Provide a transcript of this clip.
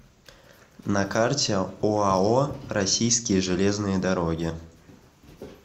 на карте оао российские железные дороги